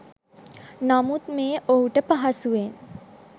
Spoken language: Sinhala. නමුත් මෙය ඔහුට පහසුවෙන්